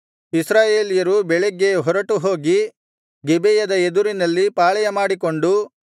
ಇಸ್ರಾಯೇಲ್ಯರು ಬೆಳಗ್ಗೆ ಹೊರಟುಹೋಗಿ ಗಿಬೆಯದ ಎದುರಿನಲ್ಲಿ ಪಾಳೆಯಮಾಡಿಕೊಂಡು